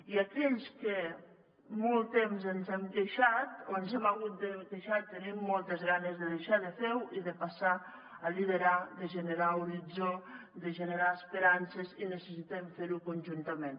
i aquells que molt temps ens hem queixat o ens hem hagut de queixar tenim moltes ganes de deixar de fer ho i de passar a liderar de generar horitzó de generar esperances i necessitem fer ho conjuntament